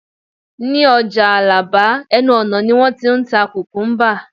ní ọjà alaba, ẹnu ọnà ni won t'in ta kukumba